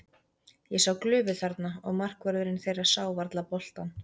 Ég sá glufu þarna og markvörðurinn þeirra sá varla boltann.